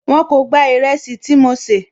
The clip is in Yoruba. Wọn kò gba ìrẹsì tí mo sè